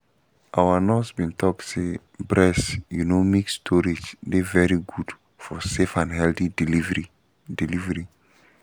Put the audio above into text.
our nurse been talk say breast you know milk storage dey very good for safe and healthy delivery delivery